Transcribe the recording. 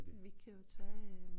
Vi kunne jo tage øh